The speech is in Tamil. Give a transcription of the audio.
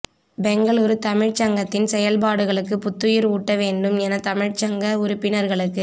பெங்களூரு தமிழ்ச் சங்கத்தின் செயல்பாடுகளுக்கு புத்துயிர் ஊட்ட வேண்டும் என தமிழ்ச் சங்க உறுப்பினர்களுக்கு